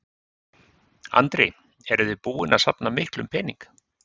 Andri: Eruð þið búin að safna miklum pening?